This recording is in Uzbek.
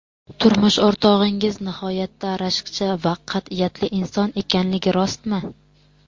Turmush o‘rtog‘ingiz nihoyatda rashkchi va qat’iyatli inson ekanligi rostmi?